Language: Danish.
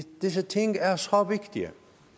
disse ting er så vigtige